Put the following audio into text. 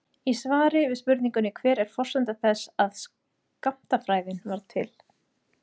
Í svari við spurningunni Hver er forsenda þess að skammtafræðin varð til?